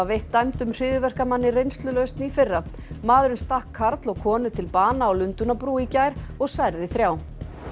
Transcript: veitt dæmdum hryðjuverkamanni reynslulausn í fyrra maðurinn stakk karl og konu til bana á Lundúnabrú í gær og særði þrjá